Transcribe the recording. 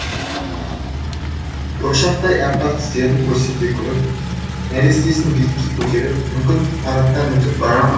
бұршақтай әппақ тістерін көрсете күліп нәрестесін биікке көтеріп мүмкін парадтан өтіп бара ма